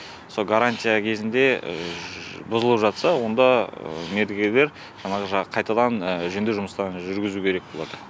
со гарантия кезінде бұзылып жатса онда мердігерлер жаңағы қайтадан жөндеу жұмыстарын жүргізу керек болады